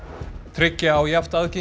tryggja á jafnt aðgengi